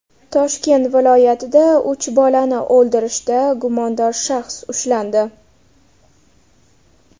Toshkent viloyatida uch bolani o‘ldirishda gumondor shaxs ushlandi.